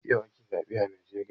Yau ake zaɓe a najeriya